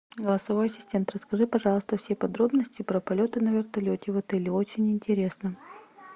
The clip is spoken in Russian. голосовой ассистент расскажи пожалуйста все подробности про полеты на вертолете в отеле очень интересно